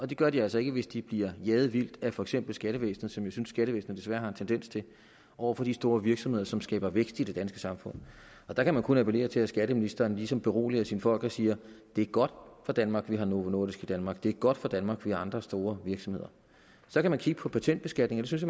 det gør de altså ikke hvis de bliver jaget vildt af for eksempel skattevæsenet hvilket jeg synes skattevæsenet desværre har en tendens til over for de store virksomheder som skaber vækst i det danske samfund der kan man kun appellere til at skatteministeren ligesom beroliger sine folk og siger det er godt for danmark at vi har novo nordisk i danmark det er godt for danmark at vi har andre store virksomheder så kan man kigge på patentbeskatning og det synes